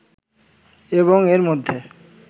এবং এর মধ্যে